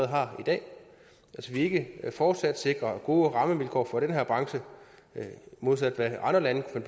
har i dag hvis vi ikke fortsat sikrer gode rammevilkår for den her branche modsat hvad andre lande kunne